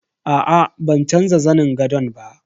Aa ban canza zanin gadon ba.